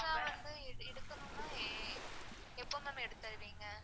எடுக்கணும்னா எப்போ ma'am எடுத்து தருவீங்க.